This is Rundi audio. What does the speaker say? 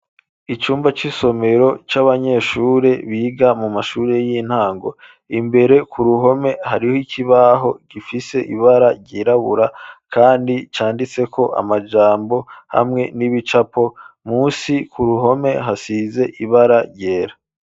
Icumba c'isomero, c'abanyeshure, biga mu mashure y'intango; imbere ku ruhome, hariho ikibaho, gifise ibara ryirabura, kandi canditseko amajambo, hamwe n'ibicapo; munsi ku ruhome, hasize ibara ryera.